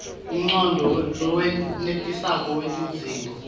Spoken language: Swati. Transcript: umcondvo lowenetisako wetidzingo